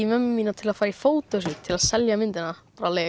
mömmu mína til að fara í til að selja myndina